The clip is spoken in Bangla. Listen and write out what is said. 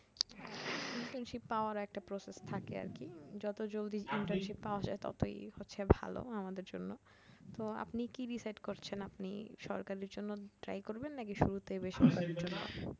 internship পাওয়ার একটা process থাকে আর কি যত জলদি internship পাওয়া যায় ততই হচ্ছে ভালো আমাদের জন্য, তো আপনি কি decide করছেন আপনি সরকারীর জন্য try করবেন নাকি শুরুতেই বেসরকারি